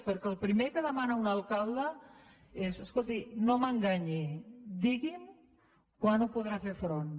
perquè el primer que demana un alcalde és escolti no m’enganyi digui’m quan hi podrà fer front